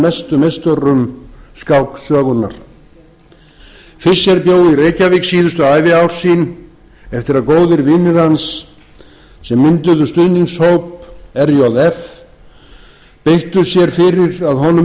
mestu meisturum skáksögunnar fischer bjó í reykjavík síðustu æviár sín eftir að góðir vinir hans sem mynduðu stuðningshóp rjf beittu sér fyrir að honum